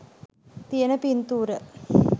තියෙන පින්තූර.